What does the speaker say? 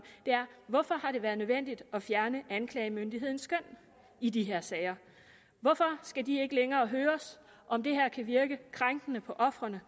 er hvorfor har det været nødvendigt at fjerne anklagemyndighedens skøn i de her sager hvorfor skal de ikke længere høres om det her kan virke krænkende på ofrene